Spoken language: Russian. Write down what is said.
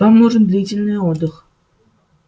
вам нужен длительный отдых